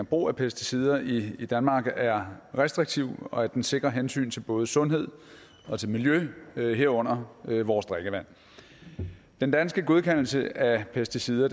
brug af pesticider i i danmark er restriktiv og at den sikrer hensyn til både sundhed og til miljø herunder vores drikkevand den danske godkendelse af pesticider